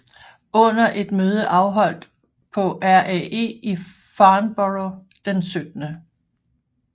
Under et møde afholdt på RAE i Farnborough den 17